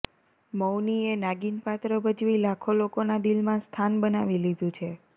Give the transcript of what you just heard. મૌનીએ નાગિન પાત્ર ભજવી લાખો લોકોના દિલમાં સ્થાન બનાવી લીધું છે